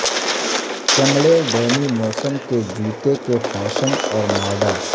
چمڑے ڈیمی موسم کے جوتے کے فیشن اور ماڈل